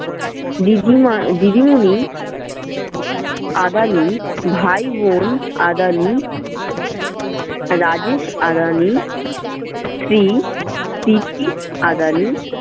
দিদিমা~ দিদিমনি আদানি ভাই বোন আদানি রাজেশ আদানি, শ্রী আদানি